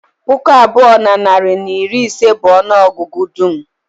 Puku abụọ na narị na iri ise bụ ọnụ ọgụgụ dum